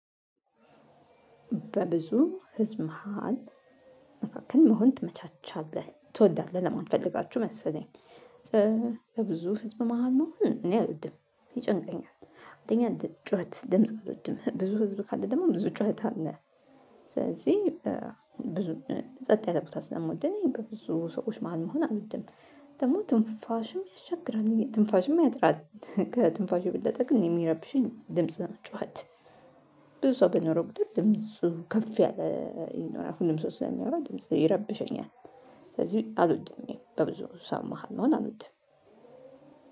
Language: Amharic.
በብዙ ህዝብ መሃል መካከል መሆን ትመቻቻለህ ትወዳለህ ለማለት ፈልጋችሁ መሰለኝ። ለብዙ ህዝብ መሃል መሆን እኔ አልወድም ይጨነቀኛል አንደኛ ጩኸት ድምጽ አይደኛም ብዙ ህዝብ ካለ ደግሞ ብዙ ጩኸት አለ። ስለዚህ ብዙ ሰጥ ያለ ቦታ ስለምወድነኝ በብዙ ሰዎች ማን መሆን አልወድም። ደግሞ ትንፋሽም ያሻግራል ትንፋሽም አያጥራትም ከትንፋሹ ብለህ የበለጠ ግን የሚረብሸኝ ድምጽ ነው ጩኸት። ብዙ ሰው በኖረው ቁጥር ድምፁ ከፍ ያለ ይኖራል አሁን ድምፁ ስለሚያወራ ድምፁ ይረብሸኛል። ስለዚህ አልወድኜም በብዙ ሰው መሃል መሆን አልወድኝም።